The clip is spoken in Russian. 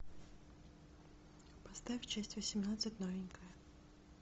поставь часть восемнадцать новенькая